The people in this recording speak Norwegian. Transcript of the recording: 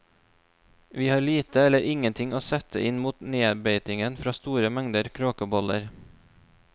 Vi har lite eller ingenting å sette inn mot nedbeitingen fra store mengder kråkeboller.